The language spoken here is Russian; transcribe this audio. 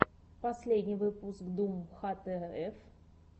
последний выпуск дум хтф